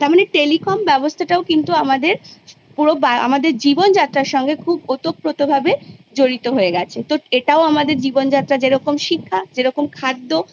সেটা একদিকে ভালো কারণ অনেকেই অঙ্ক পারে ইংরাজী পারে না অনেকে ইংরাজী পারে অঙ্ক তার মাথায় ঢোকে না সেক্ষেত্রে গিয়ে সে শিশুটা হয়তো Benefit পেলেও কিন্তু যেহেতু একদম